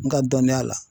N ka dɔnniya la